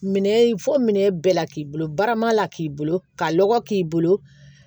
Minɛn fɔ minɛ bɛɛ la k'i bolo barama la k'i bolo ka lɔgɔ k'i bolo